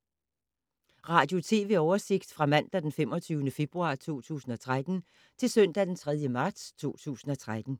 Radio/TV oversigt fra mandag d. 25. februar 2013 til søndag d. 3. marts 2013